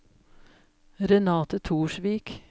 Renate Torsvik